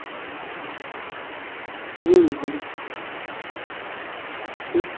হম ভালো ঠিক